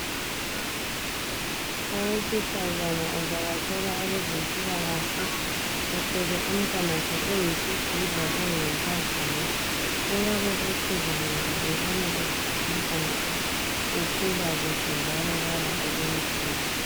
Owesifazana uvakatshela abezempilakahle. Ethwele umtanakhe oyisidudla oyinkazana uyabobotheka ngoba ebonga ukuthi umntanakhe ukhula kuhle njalo kala olunye uhlupho.